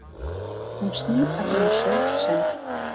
Hún snýr að ýmsu sem